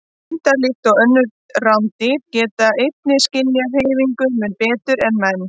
Hundar, líkt og önnur rándýr, geta einnig skynjað hreyfingu mun betur en menn.